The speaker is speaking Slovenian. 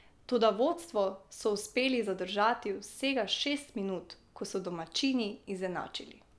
Toda vodstvo so uspeli zadržati vsega šest minut, ko so domačini izenačili.